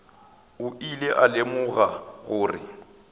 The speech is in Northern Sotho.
o ile a lemoga gore